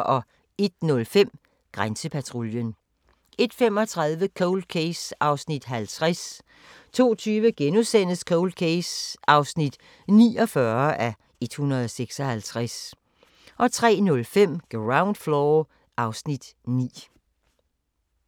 01:05: Grænsepatruljen 01:35: Cold Case (50:156) 02:20: Cold Case (49:156)* 03:05: Ground Floor (Afs. 9)